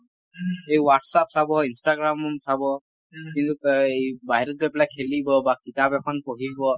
এই WhatsApp চাব Instagram চাব কিন্তু এ এই বাহিৰত গৈ পেলাই খেলিব বা কিতাপ এখন পঢ়িব